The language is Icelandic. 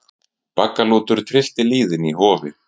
Baggalútur tryllti lýðinn í Hofi